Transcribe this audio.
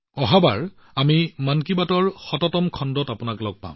মই পৰৱৰ্তী বাৰ মন কী বাতৰ এশতম খণ্ডত আপোনালোকক লগ পাম